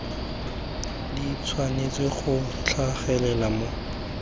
di tshwanetse go tlhagelela mo